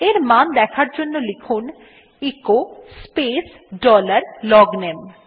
এর মান দেখার জন্য লিখুন এচো স্পেস ডলার লগনামে